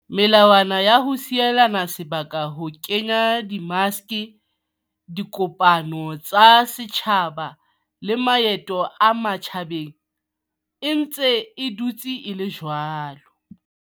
Melawana ya ho sielana sebaka, ho kenya di maske, dikopano tsa setjhaba le maeto a matjhabeng e ntse e dutse e le jwalo.